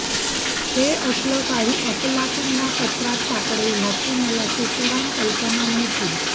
हे असलं काही अफलातून ह्या पत्रांत सापडेल ह्याची मला सुतराम कल्पना नव्हती